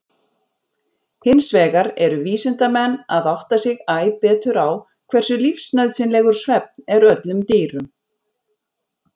Hinsvegar eru vísindamenn að átta sig æ betur á hversu lífsnauðsynlegur svefn er öllum dýrum.